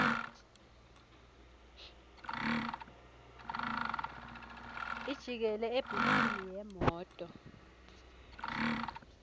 ijikela ebhuthini yemoto